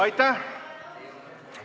Aitäh!